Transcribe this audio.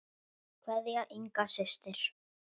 Kveðja, Inga systir.